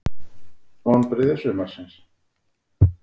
Vonbrigði sumarsins?